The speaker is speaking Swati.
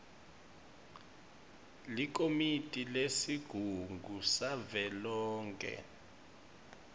likomiti lesigungu savelonkhe